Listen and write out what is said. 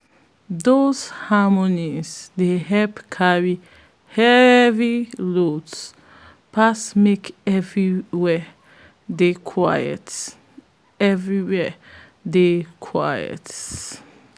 those harmonies dey help carry heavy loads pass make everywhere dey quiet everywhere dey quiet